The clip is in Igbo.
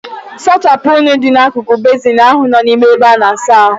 Sachapụ unyi dị n'akụkụ bezin ahụ nọ n'ime ebe ana-asa ahu.